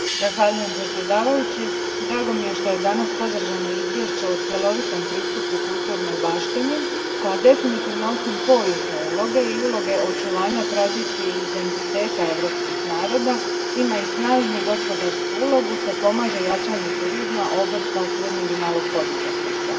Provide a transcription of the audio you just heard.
Gospodine predsjedniče, drago mi je što je danas podržano izvješće o cjelovitom pristupu kulturnoj baštini koja definitivno, osim povijesne uloge i uloge očuvanja tradicije i identiteta europskih naroda, ima i snažnu gospodarsku ulogu te pomaže u jačanju turizma, obrta i srednjeg i malog poduzetništva.